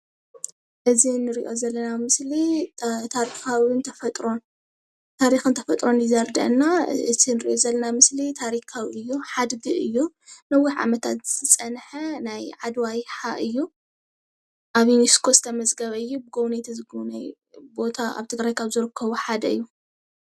እዚ እንሪኦ ዘለና ምስሊ ታሪክን ተፈጥሮን እዩ ዘርድአና ኣዚ እንሪእ ዘለና ምስሊ ታሪካዊ እዩ ሓድጊ እዩ ነዊሕ ዓመታት ዝፀንሐ ናይ ዓድዋ ይሓ እዩ። ኣብ ይኖስኮ ዝተመዝገበ እዩ። ጎብነይቱ ዝግብንይዎ ቦታ ኣብ ትግራይ ካብ ዝርከቡ ሓደ እዩ።